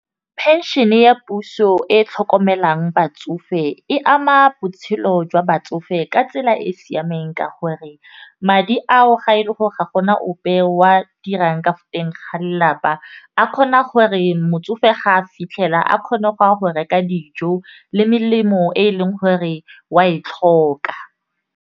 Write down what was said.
Phenšene ya puso e tlhokomelang batsofe e ama botshelo jwa batsofe ka tsela e e siameng ka gore, madi ao ga e le gore ga gona ope wa a dirang ka teng ga lelapa a kgona gore motsofe ga a fitlhela a kgone go a go reka dijo le melemo e e leng gore wa e tlhoka.